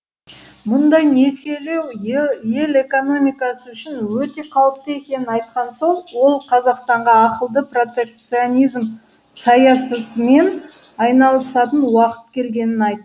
мұндай несиелеу ел экономикасы үшін өте қауіпті екенін айтқан соң қазақстанға ақылды протекционизм саясатымен айналысатын уақыт келгенін айт